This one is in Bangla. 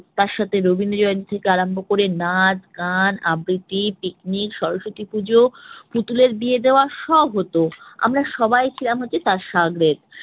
তার সাথে রবীন্দ্র জয়ন্তী থেকে আরম্ভ করে নাচ, গান, আবৃতি picnic স্বরসতী পূজো, পুতুলের বিয়ে দেওয়া সব হত। আমরা সবাই তার শাগরেদ।